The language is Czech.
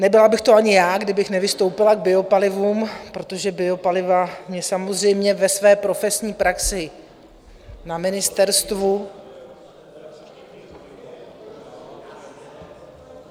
Nebyla bych to ani já, kdybych nevystoupila k biopalivům, protože biopaliva mě samozřejmě ve své profesní praxi na ministerstvu...